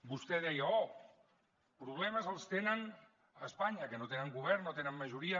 vostè deia oh de problemes en tenen a espanya que no tenen govern no tenen majoria